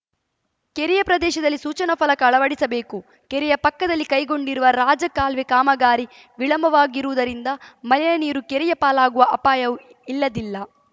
ಕೆರೆಯ ಪ್ರದೇಶದಲ್ಲಿ ಸೂಚನಾ ಫಲಕ ಅಳವಡಿಸಬೇಕು ಕೆರೆಯ ಪಕ್ಕದಲ್ಲಿ ಕೈಗೊಂಡಿರುವ ರಾಜ ಕಾಲುವೆ ಕಾಮಗಾರಿ ವಿಳಂಬವಾಗಿರುವುದರಿಂದ ಮಲಿನ ನೀರು ಕೆರೆಯ ಪಾಲಾಗುವ ಅಪಾಯವೂ ಇಲ್ಲದಿಲ್ಲ